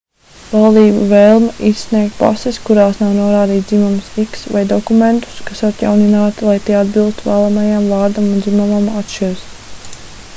valdību vēlme izsniegt pases kurās nav norādīts dzimums x vai dokumentus kas atjaunināti lai tie atbilstu vēlamajam vārdam un dzimumam atšķiras